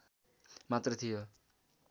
मात्र थियो